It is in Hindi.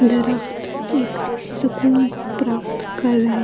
दरखत एक सुकून प्राप्त कर रहे--